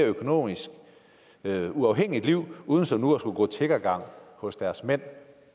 økonomisk mere uafhængigt liv uden som nu at skulle gå tiggergang hos deres mænd